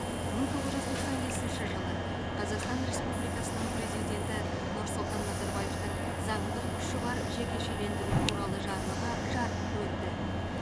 мың тоғыз жүз тоқсан бесінші жылы қазақстан республикасының президенті нұрсұлтан назарбаевтың заңдық күші бар жекешелендіру туралы жарлығы жарық көрді